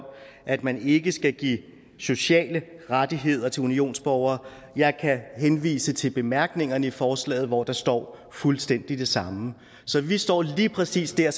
at man ikke skal give sociale rettigheder til unionsborgere jeg kan henvise til bemærkningerne i forslaget hvor der står fuldstændig det samme så vi står lige præcis der